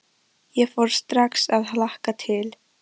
Ég fór strax að hlakka til.